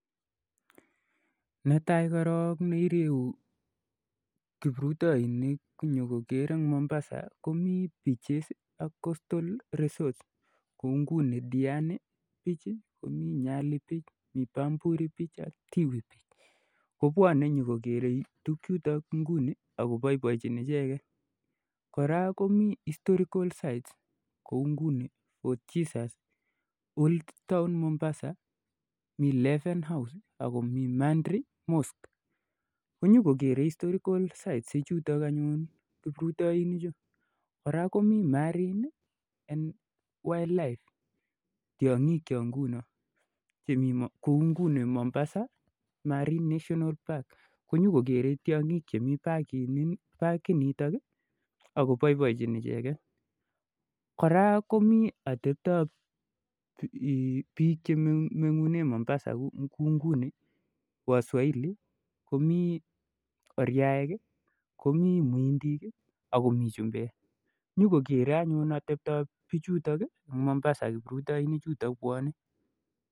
Netaai korok neireuu kipruroinik kopwaa nyokoroo eng Mombasa komii beachesii ak hotelishekap Mombasa kouu ngunii diani beach komii nyali diwani ak tiwi beach kopwanee nyokokeree tukchutok ako paipaienchin koraa komii 'historical sites' kouu 'fort Jesus'